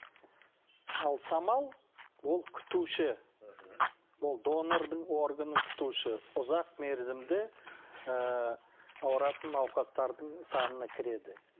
ал самал ол күтуші мхм ол донордың органын күтуші ұзақ мерзімді ыыы ауыратын науқастардың санына кіреді